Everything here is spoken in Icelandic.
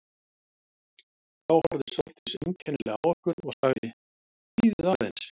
Þá horfði Sóldís einkennilega á okkur og sagði: Bíðið aðeins